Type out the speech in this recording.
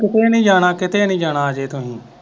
ਕਿਤੇ ਨਹੀਂ ਜਾਣਾਕਿਤੇ ਨਹੀਂ ਜਾਣਾ ਅਜੇ ਤੁਸੀਂ।